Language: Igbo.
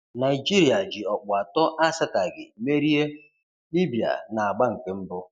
Naịjirịa ji ọkpụ atọ asataghi merie Libya na-agba nke mbụ.